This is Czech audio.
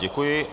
Děkuji.